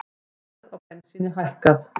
Verð á bensíni hækkað